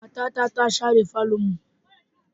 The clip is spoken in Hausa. Matata ta share falonmu.